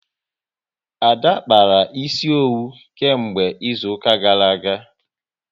Ada akpaala ịsị owu nke mgbe izuka gara aga